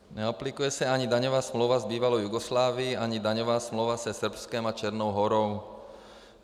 Neaplikuje se ani daňová smlouva s bývalou Jugoslávií ani daňová smlouva se Srbskem a Černou Horou.